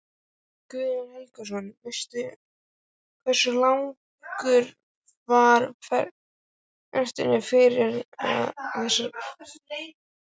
Guðjón Helgason: Hversu langur var fresturinn fyrir þessar breytingar?